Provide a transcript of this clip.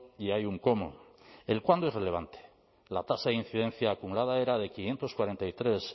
y hay un cómo el cuándo es relevante la tasa de incidencia acumulada era de quinientos cuarenta y tres